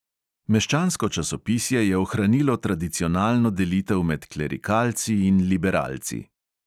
Meščansko časopisje je ohranilo tradicionalno delitev med klerikalci in liberalci.